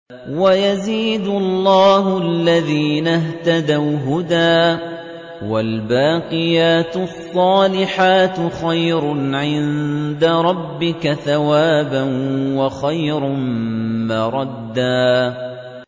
وَيَزِيدُ اللَّهُ الَّذِينَ اهْتَدَوْا هُدًى ۗ وَالْبَاقِيَاتُ الصَّالِحَاتُ خَيْرٌ عِندَ رَبِّكَ ثَوَابًا وَخَيْرٌ مَّرَدًّا